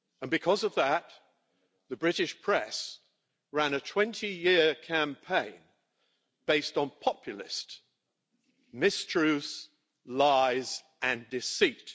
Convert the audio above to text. Because of that, the British press ran a 20-year campaign based on populist mistruths, lies and deceit.